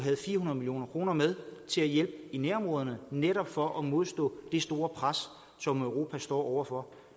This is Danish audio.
fire hundrede million kroner med til at hjælpe i nærområderne netop for at modstå det store pres som europa står over for